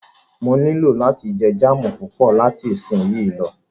Mó nilò láti jẹ jáámù púpọ̀ láti isínyì lọ.